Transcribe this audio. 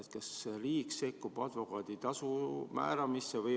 Kas riik sekkub advokaadi tasu määramisse?